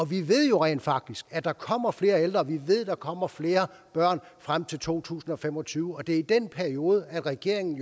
vi ved jo rent faktisk at der kommer flere ældre vi ved der kommer flere børn frem til to tusind og fem og tyve og det er i den periode regeringen